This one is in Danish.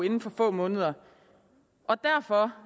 inden for få måneder og derfor